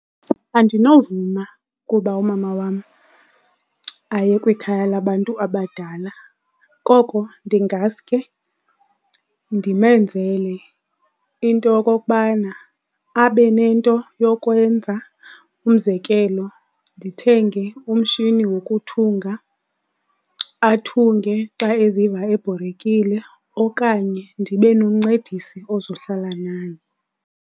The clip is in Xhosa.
Andinovuma kuba umama wam aye kwikhaya labantu abadala koko ndingasuke ndimenzele into yokokubana abe nento yokwenza. Umzekelo ndithenge umshini wokuthunga, athunge xa eziva ebhorekile okanye ndibe nomncedisi ozohlala naye.